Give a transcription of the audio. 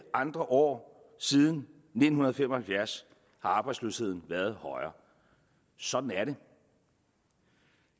andre år siden nitten fem og halvfjerds har arbejdsløsheden været højere sådan er